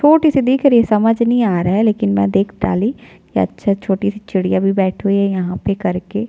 छोटी सी दिख रही है समझ नहीं आ रहा है लेकिन मैं देख डाली या अच्छा छोटी सी चिड़िया भी बैठी हुई है यहाँ पे कर के --